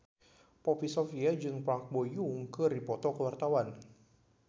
Poppy Sovia jeung Park Bo Yung keur dipoto ku wartawan